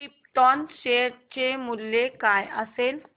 krypton share चे मूल्य काय असेल